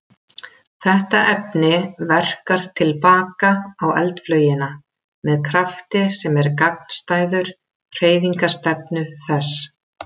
Þetta efni verkar til baka á eldflaugina með krafti sem er gagnstæður hreyfingarstefnu þess.